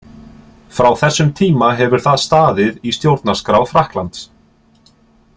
Frá þessum tíma hefur það staðið í stjórnarskrá Frakklands.